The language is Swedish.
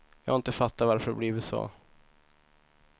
Jag har inte fattat varför det har blivit så.